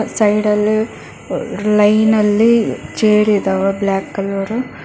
ಸೈಡಲ್ಲಿ ರ್ ಲೈನಲ್ಲಿ ಚೇರಿದಾವೆ ಬ್ಲಾಕ್ ಕಲರ್ .